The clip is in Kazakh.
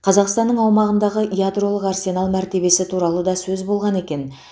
қазақстанның аумағындағы ядролық арсенал мәртебесі туралы да сөз болған екен